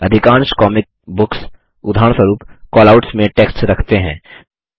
अधिकांश comic books उदाहरणस्वरूप callouts में टेक्स्ट रखते हैं